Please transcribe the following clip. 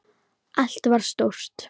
Allt var stórt.